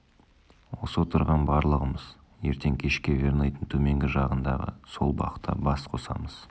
осы отырған барлығымыз ертең кешке верныйдың төменгі жағындағы сол бақта бас қосамыз